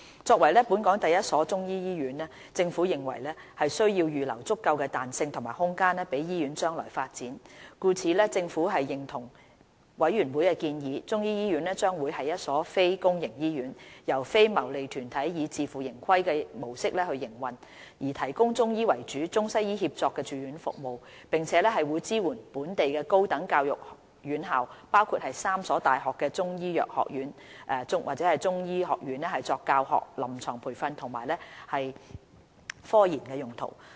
作為本港第一所中醫醫院，政府認為需要預留足夠彈性及空間予醫院將來發展，故此政府認同委員會的建議，中醫醫院將為一所非公營醫院，由非牟利團體以自負盈虧模式營運，提供以中醫為主的中西醫協作住院服務，並會支援本地高等教育院校，包括3所大學的中醫藥學院/中醫學院作教學、臨床培訓及科研用途。